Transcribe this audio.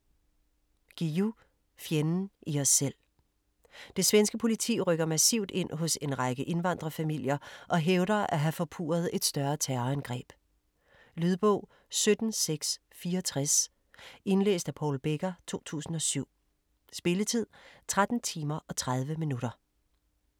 Guillou, Jan: Fjenden i os selv Det svenske politi rykker massivt ind hos en række indvandrerfamilier og hævder at have forpurret et større terrorangreb. Lydbog 17664 Indlæst af Paul Becker, 2007. Spilletid: 13 timer, 30 minutter.